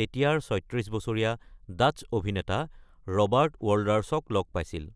তেতিয়াৰ ৩৬ বছৰীয়া ডাচ্চ অভিনেতা ৰবাৰ্ট ৱল্ডাৰ্ছক লগ পাইছিল।